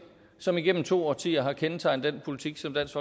som igennem to årtier har kendetegnet den politik som dansk